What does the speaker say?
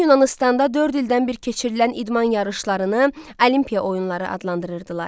Qədim Yunanıstanda dörd ildən bir keçirilən idman yarışlarını Olimpiya oyunları adlandırırdılar.